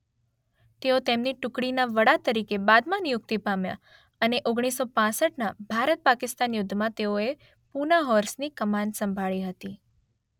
તેઓ તેમની ટુકડીના વડા તરીકે બાદમાં નિયુક્તિ પામ્યા અને ઓગણીસો પાંસઠના ભારત પાકિસ્તાન યુદ્ધમાં તેઓએ પૂના હોર્સની કમાન સંભાળી હતી